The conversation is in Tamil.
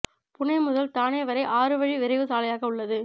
புனே முதல் தானே வரை ஆறு வழி விரைவு சாலையாக உள்ளது